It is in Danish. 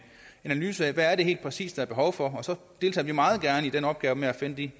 en analyse af hvad det helt præcis er behov for og så deltager vi meget gerne i den opgave med at finde de